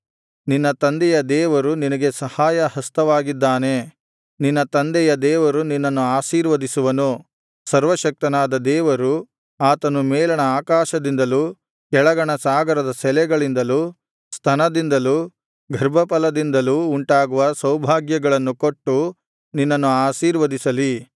ನಿನ್ನ ತಂದೆಯ ದೇವರು ನಿನಗೆ ಸಹಾಯ ಹಸ್ತವಾಗಿದ್ದಾನೆ ನಿನ್ನ ತಂದೆಯ ದೇವರು ನಿನ್ನನ್ನು ಆಶೀರ್ವದಿಸುವನು ಸರ್ವಶಕ್ತನಾದ ದೇವರು ಆತನು ಮೇಲಣ ಆಕಾಶದಿಂದಲೂ ಕೆಳಗಣ ಸಾಗರದ ಸೆಲೆಗಳಿಂದಲೂ ಸ್ತನದಿಂದಲೂ ಗರ್ಭಫಲದಿಂದಲೂ ಉಂಟಾಗುವ ಸೌಭಾಗ್ಯಗಳನ್ನು ಕೊಟ್ಟು ನಿನ್ನನ್ನು ಆಶೀರ್ವದಿಸಲಿ